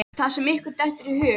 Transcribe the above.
Það sem ykkur dettur í hug!